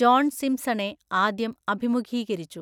John സിംപ്സണെ ആദ്യം അഭിമുഖീകരിച്ചു.